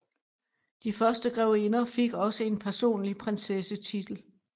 De første grevinder fik også en personlig prinsessetitel